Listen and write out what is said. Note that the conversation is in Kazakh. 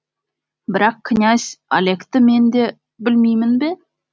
бірақ князь олегті мен де білмеймін бе